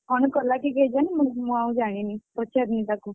କଣ କଲା କି କେଜାଣି ମୁଁ ଆଉ ଜାଣିନି, ପଚାରିନି ତାକୁ।